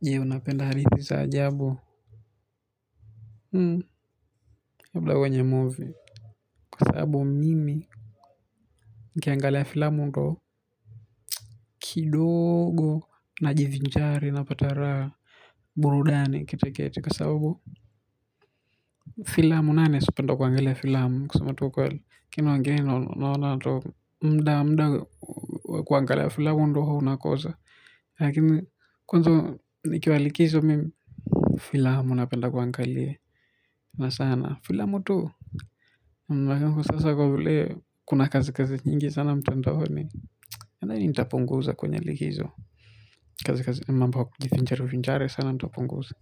Je, unapenda hadithi za ajabu? Labda kwenye movie, kwa sababu mimi nikiangalia filamu, ndiyo kidogo, najivinjari, na napata burudani kiasi fulani. Filamu nane, sipendi kuangalia filamu, kusema kweli. Lakini wengine naona muda, muda wa kuangalia filamu ndio huwa unakosa. Lakini kwanza nikiwa likizo mimi filamu napenda kuangalia. Na sana, filamu tu. Halafu sasa kwa vile kuna kazi kazi nyingi sana mtandaoni. Nadhani nitapunguza kwenye likizo. Kazi kazi mambo ya kujivinjarivinjari sana nitapunguza.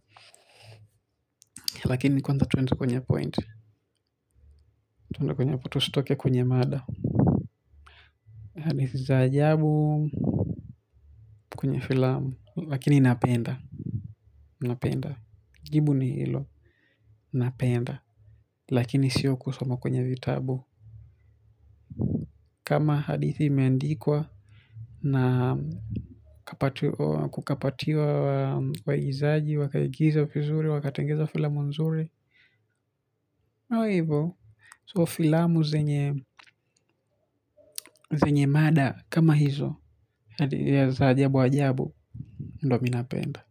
Lakini kwanza tuende kwenye point. Tuende kwenye tusitoke kwenye mada. Hadithi za ajabu kwenye filamu. Lakini napenda, mi napenda. Jibu ni hilo, napenda lakini sio kusoma kwenye vitabu. Kama hadithi imeandikwa, na kukapatiwa waigizaji, wakaigiza vizuri, wakatengeneza filamu nzuri nayo hivo. So filamu zenye zenye mada kama hizo ya za ajabu ajabu ndio mi napenda.